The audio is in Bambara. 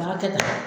U b'a kɛ tan